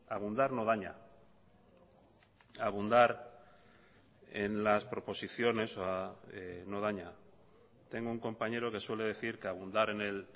abundar no daña abundar en las proposiciones no daña tengo un compañero que suele decir que abundar en el